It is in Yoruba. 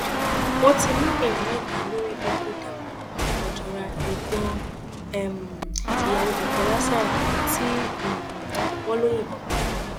wọn ti mú èèyàn mẹta lórí ikú dapò ojora ẹgbọn um ìyàwó bukola saraki tí um wọn lọ yìnbọn para ẹ